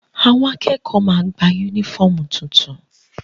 Àwọn akẹ́kọ̀ọ́ ma gba yúnífọ̀mù tuntun